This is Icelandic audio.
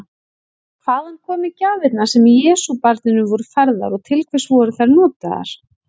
Hvaðan komu gjafirnar sem Jesúbarninu voru færðar og til hvers voru þær notaðar?